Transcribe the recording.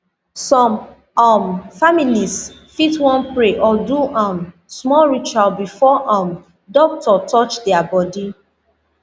some um families fit wan pray or do um small ritual before um doctor touch their body